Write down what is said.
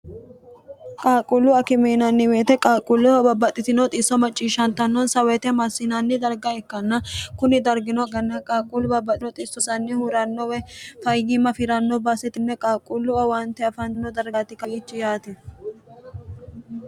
qaaqquullu akimiinanniweete qaaqquulleho babbaxxitino xiisso macciishshantannonsa woyite amassinanni darga ikkanna kuni dargino ganna qaaqquullu babbaxxino xissosanni hurannowe fayyimma afiranno baaseti qaaqquullu awaante afantino dargati kawiichi yaate